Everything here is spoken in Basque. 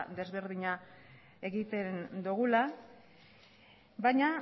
ezberdina egiten dugula baina